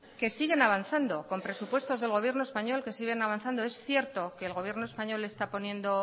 que siguen avanzando con presupuestos del gobierno español es cierto que el gobierno español está poniendo